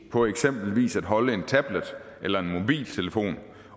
på eksempelvis at holde en tablet eller en mobiltelefon